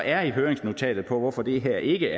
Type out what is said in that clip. er i høringsnotatet på hvorfor det her ikke